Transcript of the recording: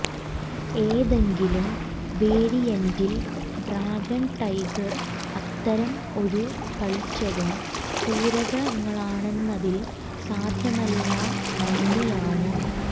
ഏതെങ്കിലും വേരിയന്റിൽ dragon tiger അത്തരം ഒരു കളിച്ചതും പൂരകങ്ങളാണെന്നതിൽ സാധ്യമല്ല നന്ദി ആണ്